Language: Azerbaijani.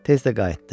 Tez də qayıtdı.